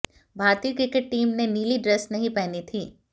भारतीय cricket team ने नीली ड्रेस नहीं पहनी थी